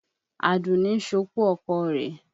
Àdùní ń ṣopó ọkọ rẹ̀.